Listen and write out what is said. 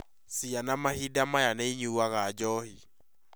Ciana mahinda maya nĩ ĩnyũnaga njohi